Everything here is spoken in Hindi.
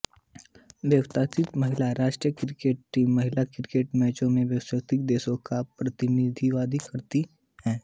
बोत्सवाना महिला राष्ट्रीय क्रिकेट टीम महिला क्रिकेट मैचों में बोत्सवाना देश का प्रतिनिधित्व करती है